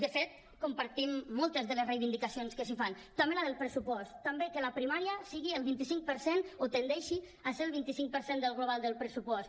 de fet compartim moltes de les reivindicacions que s’hi fan també la del pressupost també que la primària sigui el vint cinc per cent o tendeixi a ser el vint cinc per cent del global del pressupost